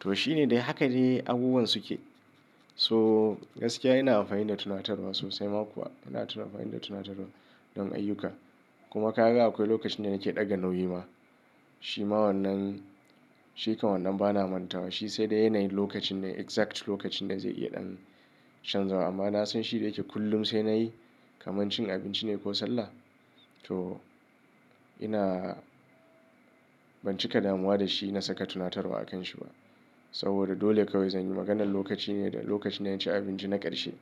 to shine dai haka de abubuwan suke. So gaskiya ina amfani da tunatarwa sosai ma kuwa ina tuna amfani da tunatarwa don ayyuka. Kuma ka ga akwai lokacin da nake ɗaga nauyi ma. Shi ma wannan, shi kan wannan bana manta wa. Shi sai dai yanayi lokacin da exact lokacin da zai iya ɗan chanzawa. Amma na san shi da yake kullum sai nayi kamar cin abinci ne ko sallah. To ina ban cika damuwa da shi na saka tunatarwa a kan shi ba. Saboda dole kawai zanyi. Maganar lokaci ne da lokacin na cin abinci na ƙarshe.